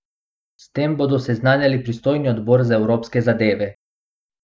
S tem bodo seznanili pristojni odbor za evropske zadeve.